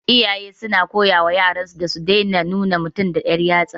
Iyaye na koyawa yaran su da su daina nuna mutum da dan yatsa